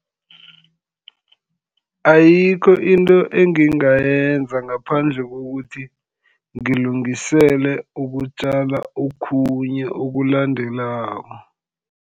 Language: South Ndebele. Ayikho into engingayenza ngaphandle kokuthi ngilungisele ukutjala okhunye okulandelako.